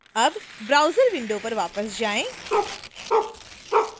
अब browser window पर वापस जाएं